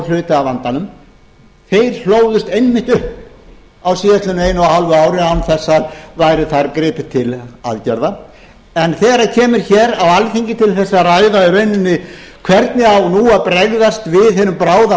af vandanum þeir hlóðust einmitt upp á síðastliðnum einu og hálfa ári án þess að þar væri gripið til aðgerða en þegar kemur hér á alþingi til þess að ræða í rauninni hvernig á nú að bregðast við hinum bráða